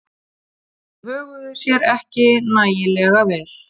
Þeir höguðu sér ekki nægilega vel.